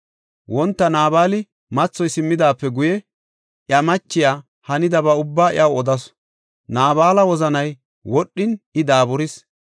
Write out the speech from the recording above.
Wonta Naabala mathoy simmidaape guye, iya machiya hanidaba ubbaa iyaw odasu; Naabala wozanay wodhin, I daaburis.